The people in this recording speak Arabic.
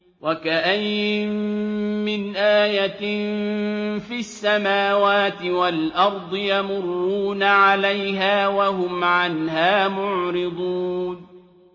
وَكَأَيِّن مِّنْ آيَةٍ فِي السَّمَاوَاتِ وَالْأَرْضِ يَمُرُّونَ عَلَيْهَا وَهُمْ عَنْهَا مُعْرِضُونَ